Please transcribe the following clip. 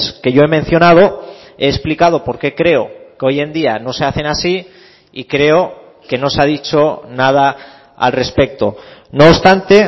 que yo he mencionado he explicado por qué creo que hoy en día no se hacen así y creo que no se ha dicho nada al respecto no obstante